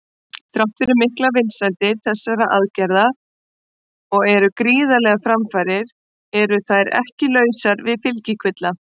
Þrátt fyrir miklar vinsældir þessara aðgerða og gríðarlegar framfarir eru þær ekki lausar við fylgikvilla.